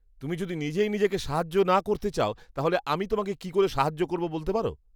তুমি যদি নিজেই নিজেকে সাহায্য না করতে চাও তাহলে আমি তোমাকে কি করে সাহায্য করবো বলতে পারো!